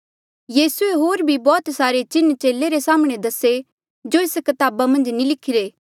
यीसूए होर भी बौह्त सारे चिन्ह चेले रे साम्हणें दसे जो एस कताबा मन्झ नी लिखिरे